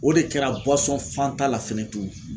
O de kɛra Fanta ta la fɛnɛ tun.